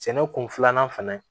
Sɛnɛ kun filanan fɛnɛ